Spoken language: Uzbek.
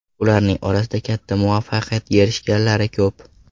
Ularning orasida katta muvaffaqiyatga erishganlari ko‘p.